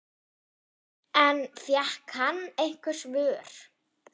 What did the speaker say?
En fékk hann einhver svör?